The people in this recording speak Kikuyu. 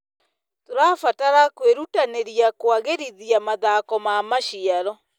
Tũrabatara kwĩrutanĩria kũagĩrithia mathoko ma maciaro.